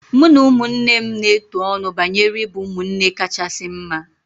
Mụ na ụmụnne m na-etu ọnụ banyere ịbụ ụmụnne kachasị mma